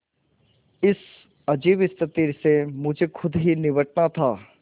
इस अजीब स्थिति से मुझे खुद ही निबटना था